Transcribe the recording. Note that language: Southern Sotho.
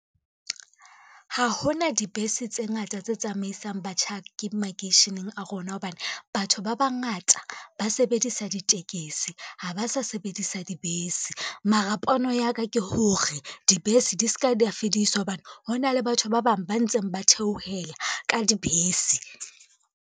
Ha ho na dibese tse ngata tse tsamaisang batjhaki makeisheneng a rona hobane, batho ba bangata ba sebedisa ditekesi ha ba sa sebedisa dibese. Mara pono ya ka ke hore dibese di ska da fediswa hobane, hona le batho ba bang ba ntseng ba theohela ka dibese.